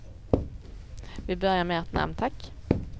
Vi börjar med ert namn, tack.